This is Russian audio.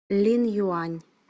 линъюань